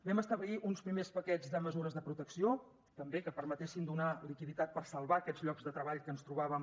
vam establir uns primers paquets de mesures de protecció també que permetessin donar liquiditat per salvar aquests llocs de treball que ens trobàvem